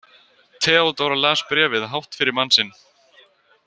Theodóra las bréfið hátt fyrir mann sinn.